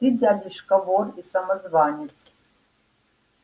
ты дядюшка вор и самозванец